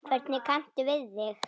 Hvernig kanntu við þig?